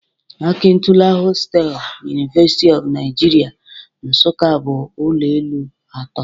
Akintola hostel, University of Nigeria Nsukka bụ ụlọ elu atọ